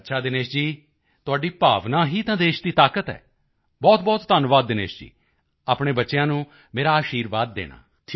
ਅੱਛਾ ਦਿਨੇਸ਼ ਜੀ ਤੁਹਾਡੀ ਭਾਵਨਾ ਹੀ ਤਾਂ ਦੇਸ਼ ਦੀ ਤਾਕਤ ਹੈ ਬਹੁਤਬਹੁਤ ਧੰਨਵਾਦ ਦਿਨੇਸ਼ ਜੀ ਅਤੇ ਆਪਣੇ ਬੱਚਿਆਂ ਨੂੰ ਮੇਰਾ ਅਸ਼ੀਰਵਾਦ ਕਹਿਣਾ